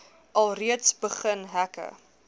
alreeds begin hekke